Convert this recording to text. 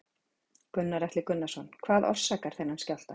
Gunnar Atli Gunnarsson: Hvað orsakar þennan skjálfta?